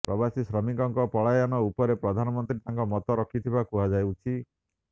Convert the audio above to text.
ପ୍ରବାସୀ ଶ୍ରମିକଙ୍କ ପଳାୟନ ଉପରେ ପ୍ରଧାନମନ୍ତ୍ରୀ ତାଙ୍କ ମତ ରଖିଥିବା କୁହାଯାଉଛି